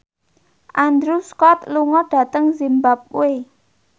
Andrew Scott lunga dhateng zimbabwe